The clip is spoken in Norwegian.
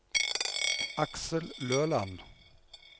Aksel Løland